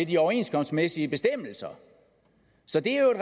de overenskomstmæssige bestemmelser så det er jo